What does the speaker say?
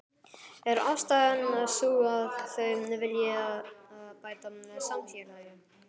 Er ástæðan sú að þau vilji bæta samfélagið?